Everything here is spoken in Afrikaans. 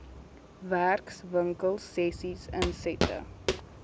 werkswinkel sessies insette